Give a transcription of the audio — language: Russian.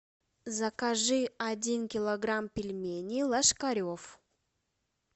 закажи один килограмм пельменей ложкарев